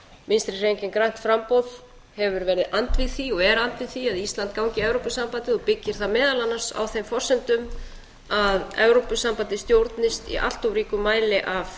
vinstri hreyfingin grænt framboð hefur verið andvíg því og er andvíg því að ísland gangi í evrópusambandið og byggir það meðal annars á þeim forsendum að evrópusambandið stjórnist í allt of ríkum mæli af